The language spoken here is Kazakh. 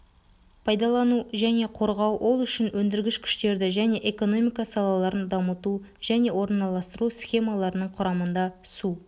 пайдалану және қорғау ол үшін өндіргіш күштерді және экономика салаларын дамыту және орналастыру схемаларының құрамында су